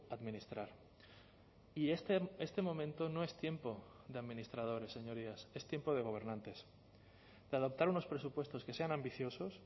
administrar y este momento no es tiempo de administradores señorías es tiempo de gobernantes de adoptar unos presupuestos que sean ambiciosos